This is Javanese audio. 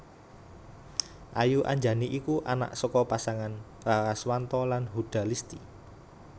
Ayu Anjani iku anak saka pasangan Raraswanto lan Huda Listy